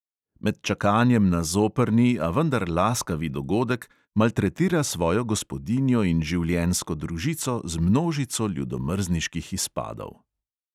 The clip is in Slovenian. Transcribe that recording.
Med čakanjem na zoprni, a vendar laskavi dogodek, maltretira svojo gospodinjo in življenjsko družico z množico ljudomrzniških izpadov.